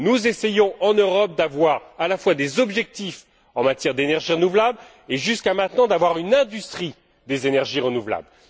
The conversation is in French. Nous essayons en Europe à la fois d'avoir des objectifs en matière d'énergie renouvelable et, jusqu'à maintenant, de disposer d'une industrie des énergies renouvelables.